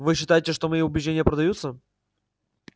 вы считаете что мои убеждения продаются